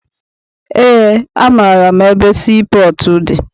Eé, amaara m ebe sii pọọtụ dị.